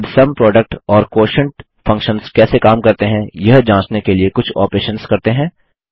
अब sum product और quotient functions कैसे काम करते हैं यह जाँचने के लिए कुछ ऑपरेशन्स करते हैं